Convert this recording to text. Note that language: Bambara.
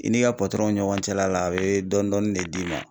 I n'i ka ɲɔgɔn cɛla la a bɛ dɔnni dɔɔni de d'i ma.